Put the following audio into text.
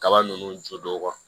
Kaba ninnu jodon